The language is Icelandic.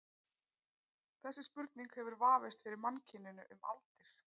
Þessi spurning hefur vafist fyrir mannkyninu um aldir.